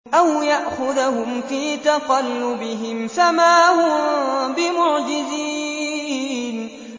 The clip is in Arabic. أَوْ يَأْخُذَهُمْ فِي تَقَلُّبِهِمْ فَمَا هُم بِمُعْجِزِينَ